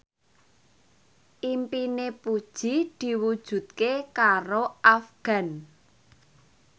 impine Puji diwujudke karo Afgan